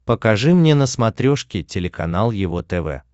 покажи мне на смотрешке телеканал его тв